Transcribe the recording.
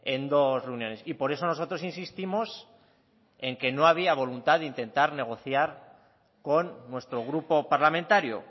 en dos reuniones y por eso nosotros insistimos en que no había voluntad de intentar negociar con nuestro grupo parlamentario